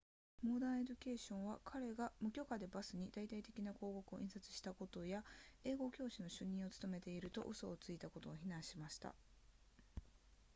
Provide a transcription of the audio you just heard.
modern education は彼が無許可でバスに大々的な広告を印刷したことや英語教師の主任を務めていると嘘をついたことを非難しました